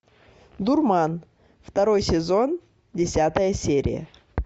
дурман второй сезон десятая серия